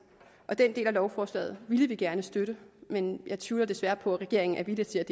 og den del af lovforslaget ville vi gerne støtte men jeg tvivler desværre på at regeringen er villig til at